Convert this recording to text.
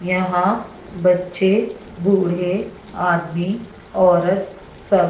यहां बच्चे बूढ़े आदमी औरत सब--